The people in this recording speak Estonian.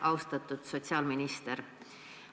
Austatud sotsiaalminister!